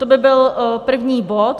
To by byl první bod.